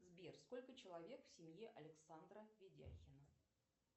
сбер сколько человек в семье александра видяхина